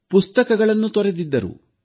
ಪುಸ್ತಕಗಳನ್ನು ತೊರೆದಿದ್ದರು